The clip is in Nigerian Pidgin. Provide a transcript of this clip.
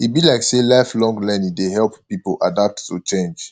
e be like sey lifelong learning dey help pipo adapt to change